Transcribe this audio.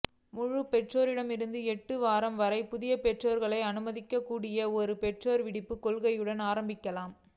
முழு பெற்றோரிடமிருந்து எட்டு வாரங்கள் வரை புதிய பெற்றோர்களை அனுமதிக்கக்கூடிய ஒரு பெற்றோர் விடுப்புக் கொள்கையுடன் ஆரம்பிக்கலாம்